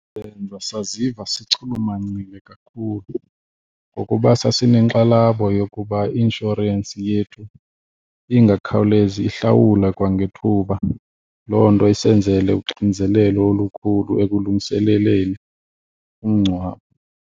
Benza saziva sichulumancile kakhulu ngokuba sasinenkxalabo yokuba i-inshorensi yethu ingakhawulezi ihlawule kwangethuba, loo nto isenzele uxinzelelo olukhulu ekulungiseleleni umngcwabo.